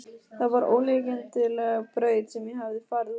Það var ólíkindaleg braut sem ég hafði farið út á.